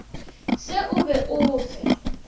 se o be o fe